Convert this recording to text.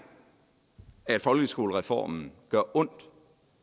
at folkeskolereformen gør ondt